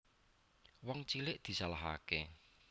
Wong cilik disalahake